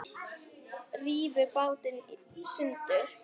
Rífur bátinn í sundur.